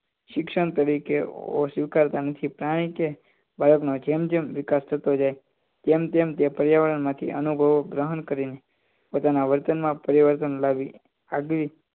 શિક્ષણ તરીકે સ્વીકારતા નથી કારણકે બાળક નો જેમ જેમ વિકાસ થતો જાય તેમ તેમ તે પર્યાવરણમાં અનુભવ ગ્રહણ કરીને પોતાના વર્તનમાં પરિવર્તન લાવી આગવી